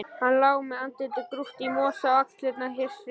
Hann lá með andlitið grúft í mosa og axlirnar hristust.